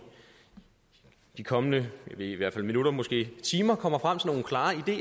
de kommende i hvert fald minutter måske timer kommer frem til nogle klare